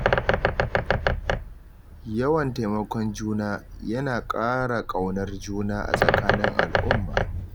Yawan taimakon juna, yana ƙara ƙaunar juna a tsakanin al'umma.